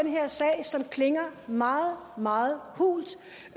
her sag som klinger meget meget hult